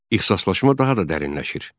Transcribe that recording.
İxisaslaşma daha da dərinləşir.